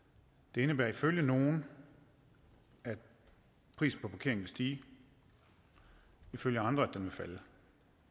det indebærer ifølge nogle at prisen på parkering vil stige ifølge andre at den vil falde